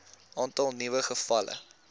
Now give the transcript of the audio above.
aantal nuwe gevalle